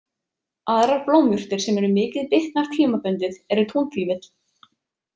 Aðrar blómjurtir sem eru mikið bitnar tímabundið eru túnfífill.